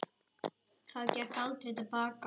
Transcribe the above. Það gekk aldrei til baka.